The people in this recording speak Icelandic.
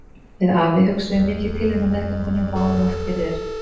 Við afi þinn hugsuðum mikið til þín á meðgöngunni og báðum oft fyrir þér.